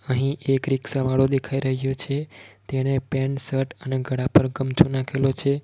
અહીં એક રિક્ષા વાળો દેખાય રહ્યો છે તેને પેન્ટ શર્ટ અને ગડા પર ગમછો નાખેલો છે.